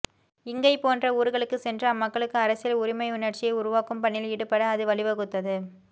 இங்கை போன்ற ஊர்களுக்குச் சென்று அம்மக்களுக்கு அரசியல் உரிமையுணர்ச்சியை உருவாக்கும் பணியில் ஈடுபட அது வழிவகுத்தது